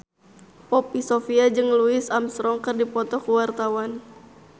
Poppy Sovia jeung Louis Armstrong keur dipoto ku wartawan